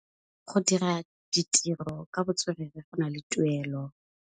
Go dira ditirô ka botswerere go na le tuelô.